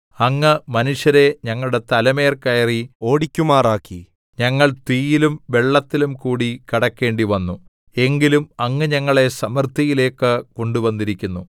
അങ്ങ് മനുഷ്യരെ ഞങ്ങളുടെ തലമേൽ കയറി ഓടിക്കുമാറാക്കി ഞങ്ങൾ തീയിലും വെള്ളത്തിലും കൂടി കടക്കേണ്ടിവന്നു എങ്കിലും അങ്ങ് ഞങ്ങളെ സമൃദ്ധിയിലേക്കു കൊണ്ടുവന്നിരിക്കുന്നു